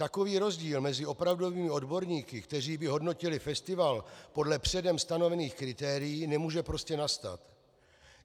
Takový rozdíl mezi opravdovými odborníky, kteří by hodnotili festival podle předem stanovených kritérií, nemůže prostě nastat.